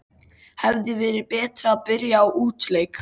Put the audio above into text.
Hefði verið betra að byrja á útileik?